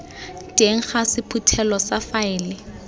teng ga sephuthelo sa faele